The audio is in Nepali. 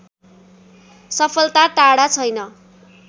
सफलता टाढा छैन